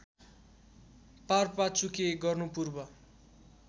पारपाचुके गर्नु पूर्व